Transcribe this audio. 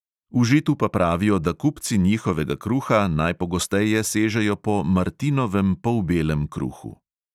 V žitu pa pravijo, da kupci njihovega kruha najpogosteje sežejo po martinovem polbelem kruhu.